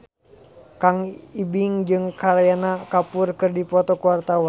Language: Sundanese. Kang Ibing jeung Kareena Kapoor keur dipoto ku wartawan